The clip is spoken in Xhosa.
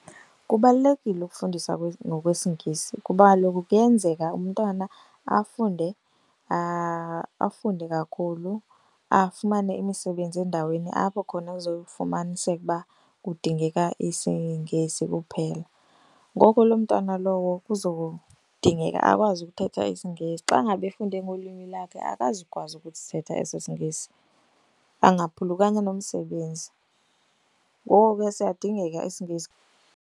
Kubalulekile ukufundisa ngokwesiNgesi kuba kaloku kuyenzeka umntwana afunde afunde kakhulu afumane imisebenzi endaweni apho khona kuzofumaniseka uba kudingeka isiNgesi kuphela. Ngoko loo mntana lowo kuzodingeka akwazi ukuthetha isiNgesi. Xa ngaba efunde ngolwimi lakhe akazukwazi ukusithetha eso siNgesi, angaphulukana nomsebenzi. Ngoko ke siyadingeka isiNgesi.